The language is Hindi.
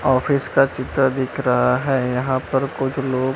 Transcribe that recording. ऑफिस का चित्र दिख रहा है यहां पर कुछ लोग--